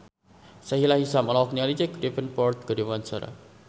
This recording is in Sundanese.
Sahila Hisyam olohok ningali Jack Davenport keur diwawancara